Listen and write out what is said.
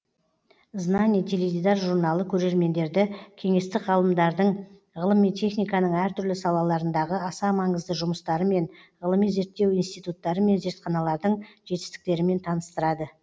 знание теледидар журналы көрермендерді кеңестік ғалымдардың ғылым мен техниканың әртүрлі салаларындағы аса маңызды жұмыстарымен ғылыми зерттеу институттары мен зертханалардың жетістіктерімен таныстырады